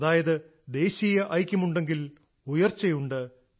അതായത് ദേശീയ ഐക്യം ഉണ്ടെങ്കിൽ ഉയർച്ചയുണ്ട്